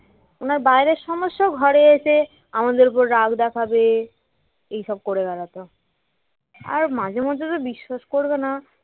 ওনার বাহিরের সমস্যা ঘরে এসে আমাদের উপর রাগ দেখাবে এইসব করে বেড়াত আর মাঝে মধ্যে তো বিশ্বাস করবে না